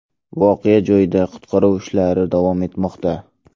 Voqea joyida qutqaruv ishlari davom etmoqda.